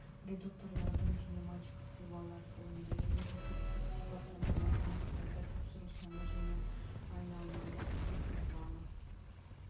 редукторлардың кинематикалық сызбаларын орындайды негізгі сипаттамаларын анықтайды тапсыру саны және айналмалы вихрь валы